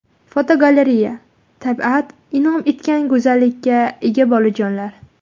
Fotogalereya: Tabiat in’om etgan go‘zallikka ega bolajonlar.